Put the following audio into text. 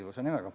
Ilus nimi, eks.